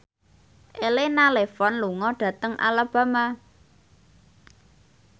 Elena Levon lunga dhateng Alabama